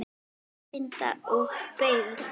Úrvinda og beygð.